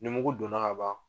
Numugu don na ka ban